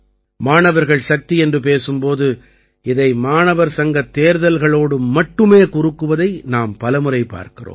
மாணவர்கள் சக்தி என்று பேசும் போது இதை மாணவர் சங்கத் தேர்தல்களோடு மட்டுமே குறுக்குவதை நாம் பல முறை பார்க்கிறோம்